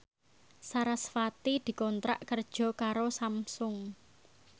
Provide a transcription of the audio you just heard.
sarasvati dikontrak kerja karo Samsung